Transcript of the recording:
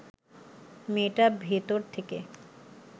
মেয়েটা ভেতর থেকে